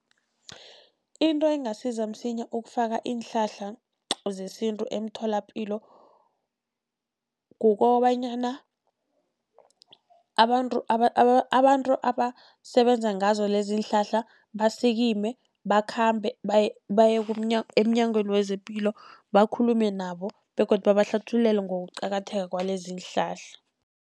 Into engasiza msinya ukufaka iinhlahla zesintu emtholapilo, kukobanyana abantu abantu abasebenza ngazo lezi iinhlahla basikime bakhambe baye, baye emNyangweni wezePilo bakhulume nabo begodu babahlathululele ngokuqakatheka kwalezi iinhlahla.